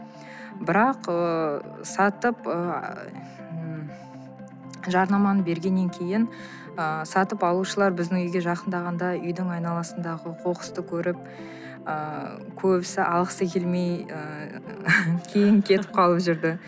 бірақ ыыы сатып ы жарнаманы бергеннен кейін ы сатып алушылар біздің үйге жақындағанда үйдің айналасындағы қоқысты көріп ыыы көбісі алғысы келмей ы кейін кетіп қалып жүрді